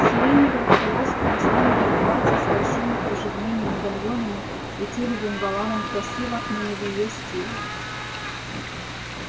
сиреневое в полоску муслиновое платье с большими кружевными медальонами и тюлевым воланом красиво но не в её стиле